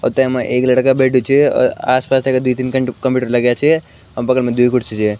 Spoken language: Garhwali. और तेमा एक लड़का बैठ्युं छ और आस पास तेका द्वि तीन कट कंप्यूटर लग्याँ छ और बगल मा द्वि कुर्सी छ ।